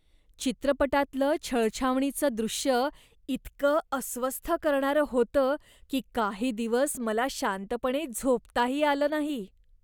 चित्रपटातलं छळछावणीचं दृश्य इतकं अस्वस्थ करणारं होतं की काही दिवस मला शांतपणे झोपताही आलं नाही.